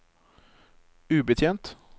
ubetjent